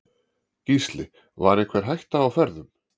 Gísli: Var einhver hætta á ferðum?